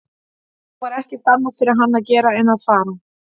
Nú var ekkert annað fyrir hann að gera en að fara.